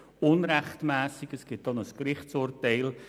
Hierzu gibt es auch ein Gerichtsurteil.